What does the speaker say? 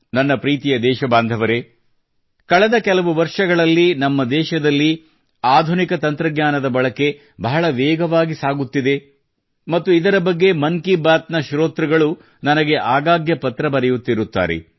ನನ್ನ ಪ್ರೀತಿಯ ದೇಶಬಾಂಧವರೇ ಕಳೆದ ಕೆಲವು ವರ್ಷಗಳಲ್ಲಿ ನಮ್ಮ ದೇಶದಲ್ಲಿ ಆಧುನಿಕ ತಂತ್ರಜ್ಞಾನದ ಬಳಕೆ ಬಹಳ ವೇಗವಾಗಿ ಸಾಗುತ್ತಿದೆ ಮತ್ತು ಇದರ ಬಗ್ಗೆ ಮನ್ ಕಿ ಬಾತ್ ನ ಶ್ರೋತ್ರುಗಳು ನನಗೆ ಆಗಾಗ್ಗೆ ಪತ್ರ ಬರೆಯುತ್ತಿರುತ್ತಾರೆ